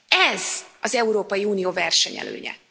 Ez az Európai Unió versenyelőnye.